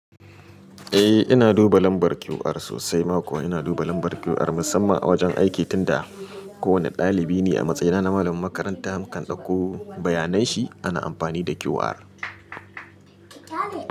Eh ina duba lambar QR sosai, ma ko ina duba lambar QR musamman a wajen aiki tunda kowane ɗalibi ni a matsayina na malamin makaranta mukan ɗauko bayanan shi ana amfani da QR.